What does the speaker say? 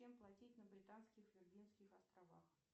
чем платить на британских виргинских островах